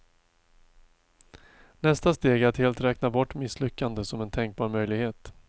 Nästa steg är att helt räkna bort misslyckande som en tänkbar möjlighet.